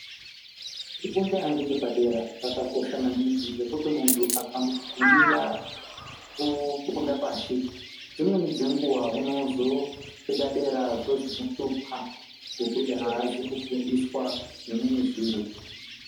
Kufunda ngechepadera kwakakosha maningi ngekuti muntu akagumira kufunda pashi dzimweni dzenguwa unozosvika dera zvozomuhlupa ngekuti aazi kufundiswa zvimweni zviro.